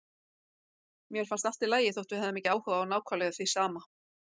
Mér fannst allt í lagi þótt við hefðum ekki áhuga á nákvæmlega því sama.